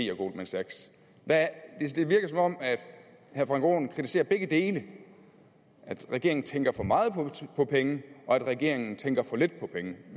goldman sachs det virker som om herre frank aaen kritiserer begge dele at regeringen tænker for meget på penge og at regeringen tænker for lidt på penge